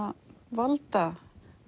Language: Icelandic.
valdatafl